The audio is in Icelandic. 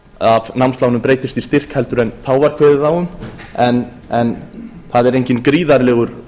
af námslánum breytist í styrk heldur en þá var kveðið á um en það er enginn gríðarlegur